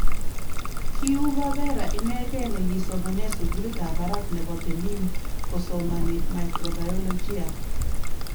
Ki Uwavera inegei ne kisomane sugulit ab barak nebo Benin kosomani microbiolijia